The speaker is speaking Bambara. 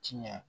Tiɲɛ